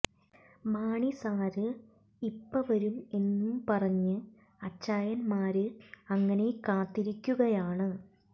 Mani sir ഇപ്പ വരും എന്നും പറഞ്ഞു അച്ചായന്മാര് അങ്ങനെ കാത്തിരിക്കുകയാണ്